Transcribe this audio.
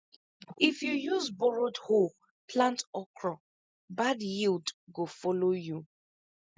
if you use borrowed hoe plant okra bad yield go follow you